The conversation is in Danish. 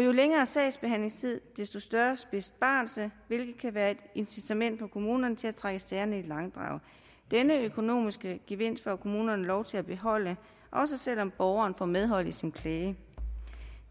jo længere sagsbehandlingstid desto større besparelse hvilket kan være et incitament for kommunerne til at trække sagerne i langdrag denne økonomiske gevinst får kommunerne lov til at beholde også selv om borgeren får medhold i sin klage